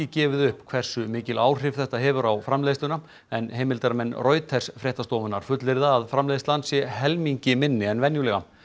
gefið upp hversu mikil áhrif þetta hefur á framleiðsluna en heimildarmenn Reuters fullyrða að framleiðslan sé helmingi minni en venjulega